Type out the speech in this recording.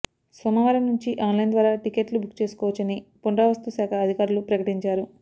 సోమవారం నుంచి online ద్వారా టికెట్లు బుక్ చేసుకోవచ్చని ఫురావస్తుశాఖ అధికారులు ప్రకటించారు